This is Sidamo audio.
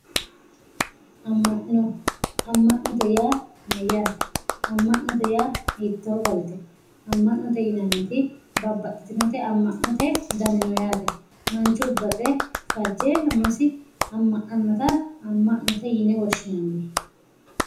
amma'no amma'note yaa mayyaate amma'note yaa hiittoo garite amma'note yinanniti babbaxxitinote amma'note dani no yaate manchu baxe fajjeenna umosi amma'nannota amma'note yine woshshinanni